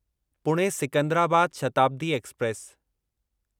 Pune Secunderabad Shatabdi express